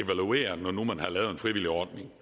når nu man havde lavet en frivillig ordning